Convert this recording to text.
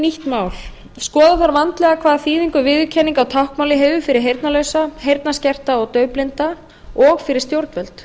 nýtt mál skoða þarf vandlega hvaða þýðingu viðurkenning á táknmáli hefur fyrir heyrnarlausa heyrnarskerta og daufblinda og fyrir stjórnvöld